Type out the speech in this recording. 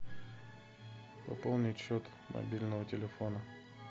пополнить счет мобильного телефона